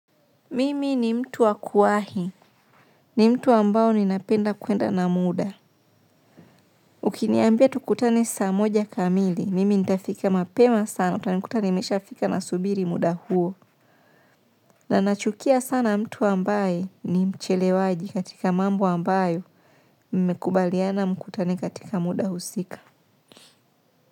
Mimi ni mtu wa kuwahi, ni mtu ambao ninapenda kwenda na muda. Ukiniambia tukutane saa moja kamili, mimi nitafika mapema sana, utanikuta nimeshafika nasubiri muda huo. Na nachukia sana mtu ambaye ni mchelewaji katika mambo ambayo mmekubaliana mkutane katika muda husika.